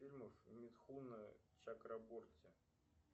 фильмов митхуна чакраборти